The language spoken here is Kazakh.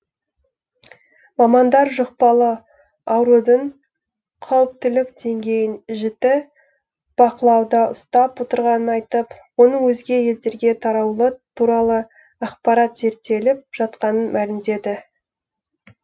мамандар жұқпалы аурудың қауіптілік деңгейін жіті бақылауда ұстап отырғанын айтып оның өзге елдерге таралуы туралы ақпарат зерттеліп жатқанын мәлімдеді